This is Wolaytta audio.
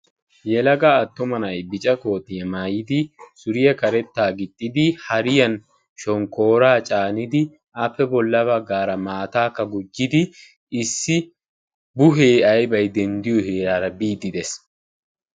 Yelaga attuma na'ay bica kootiya mayidi suriya karettaa gixxidi hariyan shonkkooraa caanidi appe bolla baggaara maataakka gujjidi issi buhee ayibay denddiyo heeraara biiddi Des.